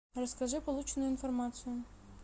расскажи полученную информацию